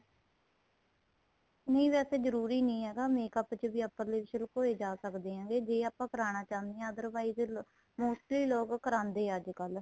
ਨਹੀਂ ਵੈਸੇ ਜਰੂਰੀ ਨਹੀਂ ਹੈਗਾ makeup ਚ ਵੀ upper lips ਵੀ ਲਕੋਏ ਜਾਂ ਸਕਦੇ ਹੈ ਪਰ ਜ਼ੇ ਆਪਾਂ ਕਰਾਨਾ ਚਾਹੁੰਦੇ ਹਾਂ otherwise ਮੋਟੇ ਲੋਕ ਕਰਾਦੇ ਏ ਅੱਜਕਲ